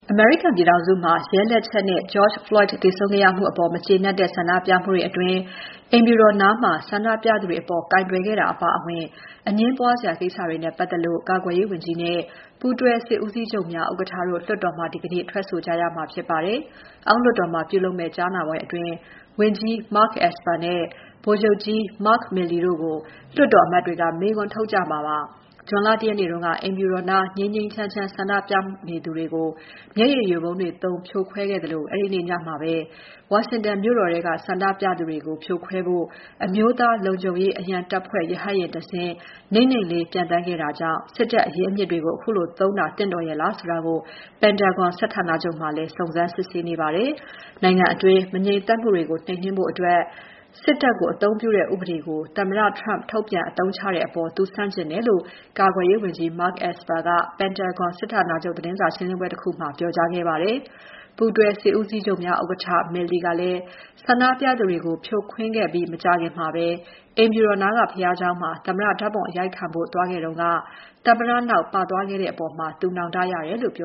အမေရိကန်ပြည်ထောင်စုမှာ ရဲလက်ချက်နဲ့ George Floyd သေဆုံးခဲ့မှုအပေါ် မကျေနပ်တဲ့ ဆန္ဒပြမှုတွေအတွင်း အိမ်ဖြူတော်နားမှာ ဆန္ဒပြသူတွေအပေါ် ကိုင်တွယ်ခဲ့တာအပါအဝင် အငြင်းပွားစရာ ကိစ္စတွေနဲ့ပတ်သက်လို့ ကာကွယ်ရေးဝန်ကြီးနဲ့ ပူးတွဲစစ်ဦးစီးချုပ်များဥက္ကဋ္ဌတို့ လွှတ်တော်မှာ ဒီနေ့ ထွက်ဆိုကြရမှာဖြစ်ပါတယ်။ အောက်လွှတ်တော်မှာပြုလုပ်မယ့် ကြားနာပွဲအတွင်း ဝန်ကြီး Mark Esper နဲ့ ဗိုလ်ချုပ်ကြီး Mark Milley တို့ကို လွှတ်တော်အမတ်တွေက မေးခွန်းထုတ်ကြမှာပါ။ ဇွန်လ ၁ ရက်နေ့က အိမ်ဖြူတော်နား ငြိမ်းငြိမ်းချမ်းချမ်း ဆန္ဒပြသူတွေကို မျက်ရည်ယိုဗုံးတွေသုံး ဖြိုခွဲခဲ့သလို အဲဒီနေ့ ညမှာပဲ ဝါရှင်တန်မြို့တော်ထဲက ဆန္ဒပြသူတွေကို ဖြိုခွဲဖို့ အမျိုးသားလုံခြုံရေးအရန်တပ်ဖွဲ့ ရဟတ်ယာဉ်တစင်း နိမ့်နိမ့်လေး ပျံသန်းခဲ့တာကြောင့် စစ်တပ်အရင်းအမြစ်တွေကို ခုလိုသုံးတာ သင့်တော်ရဲ့လားဆိုတာကို Pentagon စစ်ဌာနချုပ်မှာလည်း စုံစမ်းစစ်ဆေးနေပါတယ်။ နိုင်ငံတွင်း မငြိမ်သက်မှုတွေကို နှိမ်နှင်းဖို့ စစ်တပ်ကို အသုံးပြုတဲ့ဥပဒေကို သမ္မတ Trump ထုတ်ပြန်အသုံးချတဲ့အပေါ် သူဆန့်ကျင်တယ်လို့ ကာကွယ်ရေးဝန်ကြီး Esper က Pentagon စစ်ဌာနချုပ်သတင်းစာရှင်းပွဲတခုမှာ ပြောခဲ့ပါတယ်။ ဆန္ဒပြသူတွေကို ဖြိုခွင်းခဲ့ပြီးမကြာခင်မှာပဲ အိမ်ဖြူတော်နားက ဘုရားကျောင်းမှာ သမ္မတ ဓာတ်ပုံအရိုက်ခံဖို့ သွားခဲ့တုန်းက သမ္မတနောက် ပါသွားခဲ့တဲ့အပေါ်နောင်တရတယ်လို့ ပ